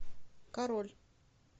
король